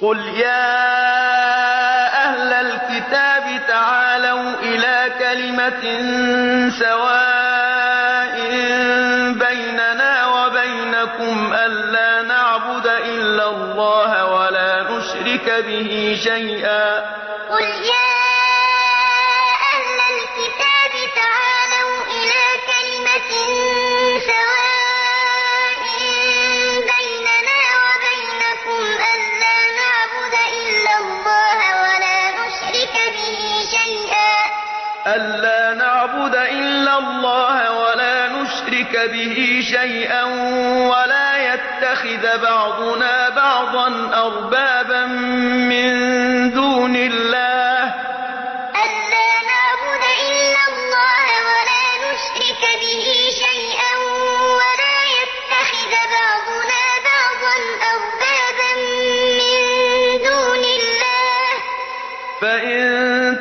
قُلْ يَا أَهْلَ الْكِتَابِ تَعَالَوْا إِلَىٰ كَلِمَةٍ سَوَاءٍ بَيْنَنَا وَبَيْنَكُمْ أَلَّا نَعْبُدَ إِلَّا اللَّهَ وَلَا نُشْرِكَ بِهِ شَيْئًا وَلَا يَتَّخِذَ بَعْضُنَا بَعْضًا أَرْبَابًا مِّن دُونِ اللَّهِ ۚ فَإِن